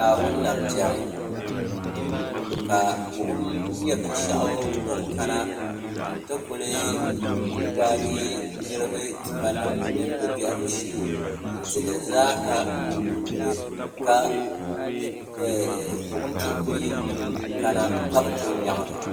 naawuni na tɛri ka bogim nyɛ bɛni shɛgu dini kana n ti kuli gbagi ni bɛ n dili zaasa wuliwuli ka boɣim tuhiku yilinim kana ka be tuui nyɛŋli